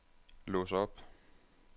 lås op